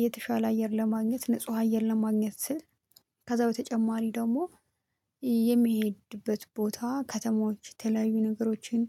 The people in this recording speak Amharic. የተሻለ አየር ለማግኘት ንጹህ አየር ለማግኘት ስል ከዛ በተጨማሪ ደግሞ የሚሄድበት ቦታ ከተማዎች የተለያዩ ነገሮችን